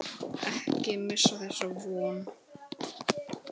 Ekki missa þessa von.